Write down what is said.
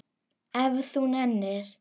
Ef þú nennir.